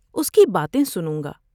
اس کی باتیں سنوں گا ۔